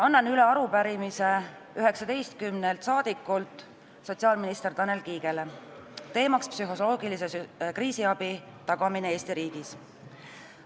Annan sotsiaalminister Tanel Kiigele üle arupärimise 19 saadikult, teemaks psühholoogilise kriisiabi tagamine Eesti riigis.